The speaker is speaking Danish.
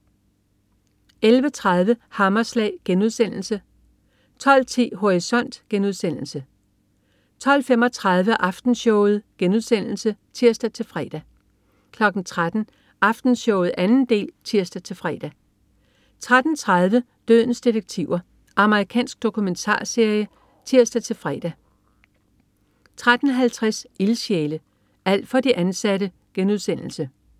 11.30 Hammerslag* 12.10 Horisont* 12.35 Aftenshowet* (tirs-fre) 13.00 Aftenshowet 2. del (tirs-fre) 13.30 Dødens detektiver. Amerikansk dokumentarserie (tirs-fre) 13.50 Ildsjæle. Alt for de ansatte*